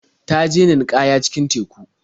Ta je ninƙaya cikin teku.